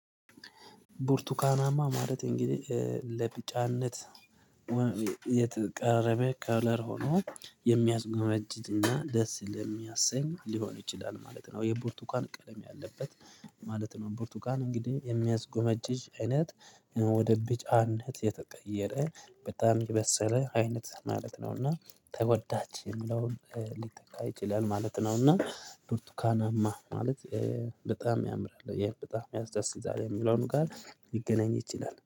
ቡርቱካናማ ማለት እንግዲህ ለቢጫነት የተቃረበ ከለር ሆኖ የሚያዝጎመጅጅ እና ደስ ለሚያሰኝ ሊሆን ይችላል ማለት ነው የቡርቱካን ቀለም ያለበት ማለት ነው። ቡርቱካን እንግዲህ የሚያስጎመጅጅ አይነት ወደ ቢጫነት የተቀየረ በጣም የበሰለ አይነት ማለት ነው። እና ተወዳጅ የሚለውን ሊተካ ይችላል ማለት ነው። እና ብርቱካናማ ማለት በጣም ያምራል በጣም ያስደስታል የሚለውን ቃል ይገናኝ ይችላል